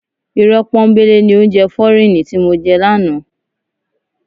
Irọ́ pọ́nńbélé ni oúnjẹ fọ́ríìnì ti mo jẹ lánàá.